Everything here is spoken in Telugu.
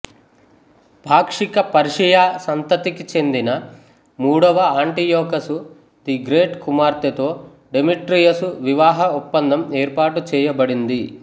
పాక్షిక పర్షియా సంతతికి చెందిన మూడవ ఆంటియోకసు ది గ్రేట్ కుమార్తెతో డెమెట్రియసు వివాహ ఒప్పందం ఏర్పాటు చేయబడింది